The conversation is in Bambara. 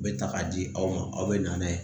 U bɛ ta k'a di aw ma aw bɛ na n'a ye